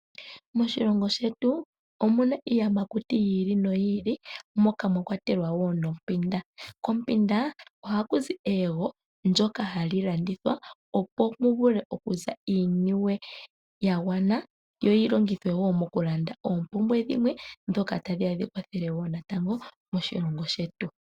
Moshilongo shetu omu na iiyamakuti yi ili noyi ili moka mwakwatelwa nompinda. Kompunda ohaku zi eyego ndoka hali landithwa opo mu vule okuza iiniwe ya gwana, yo yi longithwe wo mokulanda oompumbwe dhimwe ndhoka tadhi ya dhi kwathele natango moshilongo shetu.